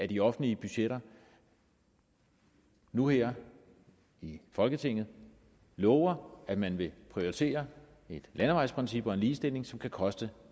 de offentlige budgetter nu her i folketinget lover at man vil prioritere et landevejsprincip og en ligestilling som kan koste